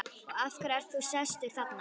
Og af hverju ert þú sestur þarna?